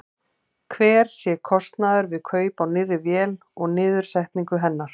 Hver sé kostnaður við kaup á nýrri vél og niðursetningu hennar?